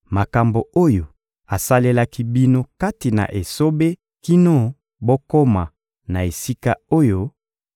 makambo oyo asalelaki bino kati na esobe kino bokoma na esika oyo,